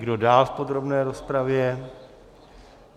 Kdo dál v podrobné rozpravě?